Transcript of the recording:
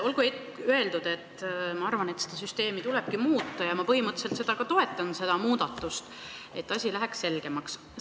Olgu öeldud, et minu arvates seda süsteemi tulebki muuta ja ma põhimõtteliselt toetan seda muudatust, et asi läheks selgemaks.